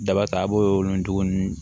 Daba ta a b'o nugu ninnu